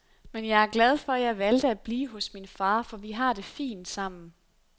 Men jeg er glad for jeg valgte at blive hos min far, for vi har det fint sammen.